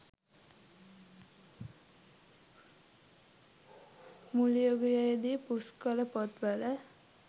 මුල් යුගයේදී පුස්කොළ පොත් වල